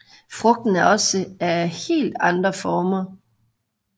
Frugten er også af helt andre former